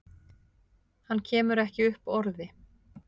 Hann kemur ekki upp orði.